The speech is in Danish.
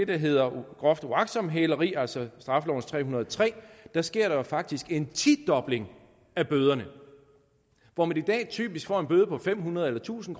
der hedder groft uagtsomt hæleri altså straffelovens § tre hundrede og tre sker der faktisk en tidobling af bøderne hvor man i dag typisk får en bøde på fem hundrede eller tusind